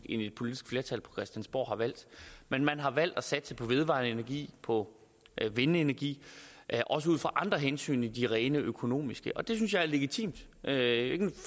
et politisk flertal på christiansborg har valgt men man har valgt at satse på vedvarende energi på vindenergi også ud fra andre hensyn end de rent økonomiske det synes jeg er legitimt det er ikke